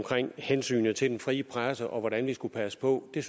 hensynet til den frie presse og hvordan vi skulle passe på er